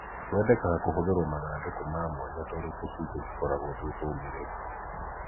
Kwendekaga kũhũthĩrwo mathandũku ma mwanya tondũ tũcui tũtikoragwo twĩ tũmĩrĩru.